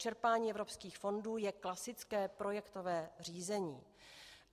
Čerpání evropských fondů je klasické projektové řízení.